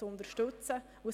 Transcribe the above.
unterstützen wollen: